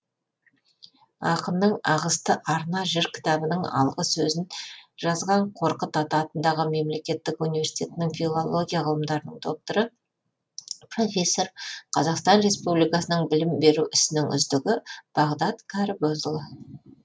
ақынның ағысты арна жыр кітабының алғы сөзін жазған қорқыт ата атындағы мемлекеттік университетінің филология ғылымдарының докторы профессор қазақстан ресупбликасының білім беру ісінің үздігі бағдат кәрібозұлы